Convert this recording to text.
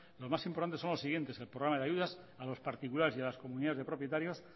los más importantes son los siguientes el programa de ayudas a los particulares y a las comunidades de propietarios